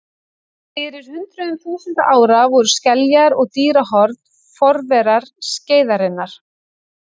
Fyrir hundruðum þúsunda ára voru skeljar og dýrahorn forverar skeiðarinnar.